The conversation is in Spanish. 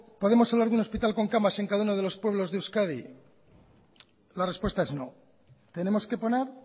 podemos hablar de un hospital con camas en cada uno de los pueblos de euskadi la respuesta es no tenemos que poner